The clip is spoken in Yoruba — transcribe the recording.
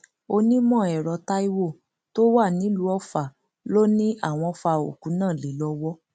onímọẹrọ táiwo tó wà nílùú ọfà ló ní àwọn fa òkú náàlé lọwọ